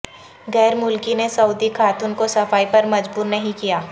غیر ملکی نے سعودی خاتون کو صفائی پر مجبور نہیں کیا